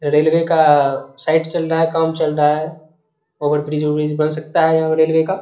Railway का site चल रहा है काम चल रहा है ओवरब्रिज उरिज बन सकता है यहाँ पर रेलवे का।